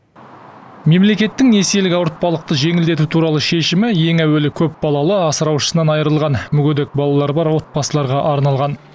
мемлекеттің несиелік ауыртпалықты жеңілдету туралы шешімі ең әуелі көпбалалы асыраушысынан айырылған мүгедек балалары бар отбасыларға арналған